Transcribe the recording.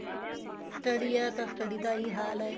study ਹੈ ਤਾਂ study ਦਾ ਇਹੀ ਹਾਲ ਹੈ